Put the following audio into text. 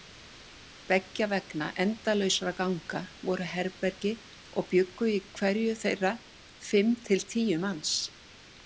Beggja vegna endalausra ganga voru herbergi og bjuggu í hverju þeirra fimm til tíu manns.